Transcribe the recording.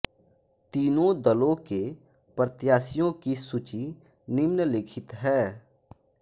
तीनों दलों के प्रत्याशियों की सूची निम्नलिखित है